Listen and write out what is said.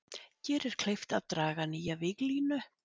Gerir kleift að draga nýja víglínu